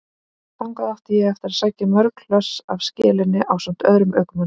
Þangað átti ég eftir að sækja mörg hlöss af skelinni ásamt öðrum ökumanni.